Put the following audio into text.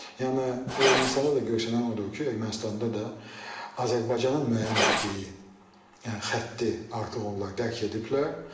Yəni Ermənistanda da görünən odur ki, Ermənistanda da Azərbaycanın müəyyən etdiyi yəni xətti artıq onlar dərk ediblər.